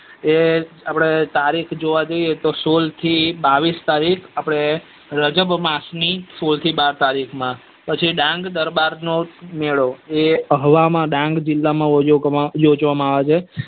એ આપડે તારીખ જોવા જઈએ તો સોળ થી બાવીસ તારીખ આપડે રજ્બો અમાસ ની થી બાર તારીખ માં પછી ડાંગ દરબાર નો મેળો એ અહવામાં માં ડાંગ જીલો યોજવામાં આવે છે